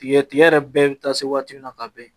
Tigɛ tigɛ yɛrɛ bɛɛ bɛ taa se waati min na ka bɛn